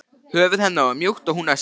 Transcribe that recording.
Höfuð hennar var mjúkt og hún öskraði.